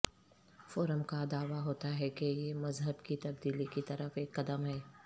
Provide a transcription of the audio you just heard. forum کا دعوی ہوتا ہے کہ یہ مذہب کی تبدیلی کی طرف ایک قدم ہے